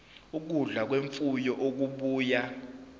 ukudla kwemfuyo okubuya